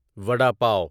vada پاو